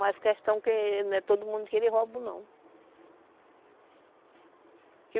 Mas questão que não é todo mundo que eles roubam, não.